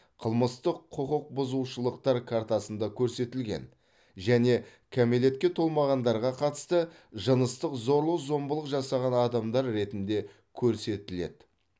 қылмыстық құқық бұзушылықтар картасында көрсетілген және кәмелетке толмағандарға қатысты жыныстық зорлық зомбылық жасаған адамдар ретінде көрсетіледі